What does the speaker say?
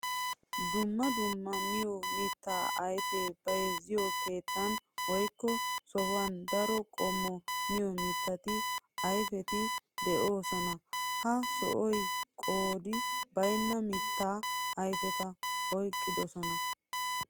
Dumma dumma miyo mitta ayfiya bayzziyo keettan woykko sohuwan daro qommo miyo mitta ayfetti de'osonna. Ha sohoy qoodi baynna mitta ayfetta oyqqidosonna.